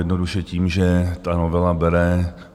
Jednoduše tím, že ta novela bere